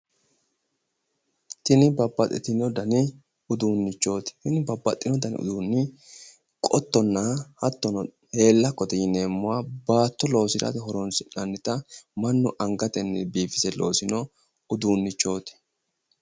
Tini babbaxxitino dani uduunnichooti. Kuni babbaxxino dani uduunni qottonna hattono heellakkote yineemmoha baatto loosirate horoonsi'nannita mannu angatenni biifise loosino uduunnichooti.